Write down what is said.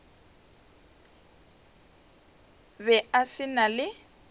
be a se na le